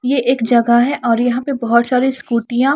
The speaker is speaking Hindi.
ये एक जगह है और यहां पे बहोत सारी स्कूटीयां --